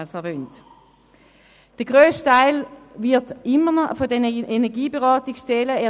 Der Grossteil wird immer noch von den Energieberatungsstellen geleistet.